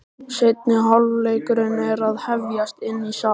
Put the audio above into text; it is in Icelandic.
Seinni hálfleikur er að hefjast inni í sal.